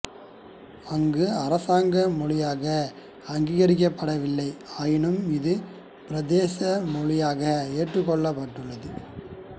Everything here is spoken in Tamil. அங்கு அரசாங்க மொழியாக அங்கீகரிக்கப்படவில்லை ஆயினும் இது பிரதேச மொழியாக ஏற்றுக் கொள்ளப்பட்டுள்ளது